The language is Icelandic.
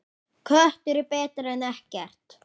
Köttur er betri en ekkert.